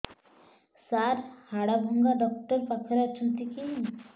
ସାର ହାଡଭଙ୍ଗା ଡକ୍ଟର ପାଖରେ ଅଛନ୍ତି କି